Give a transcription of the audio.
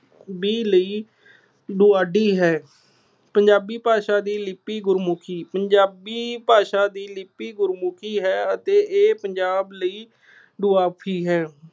B ਲਈ ਡਾਢੀ ਹੈ। ਪੰਜਾਬੀ ਭਾਸ਼ਾ ਦੀ ਲਿੱਪੀ ਗੁਰਮੁਖੀ- ਪੰਜਾਬੀ ਭਾਸ਼ਾ ਦਾ ਲਿੱਪੀ ਗੁਰਮੁਖੀ ਹੈ ਅਤੇ ਇਹ ਪੰਜਾਬ ਲਈ ਦੁਆਬੀ ਹੈ।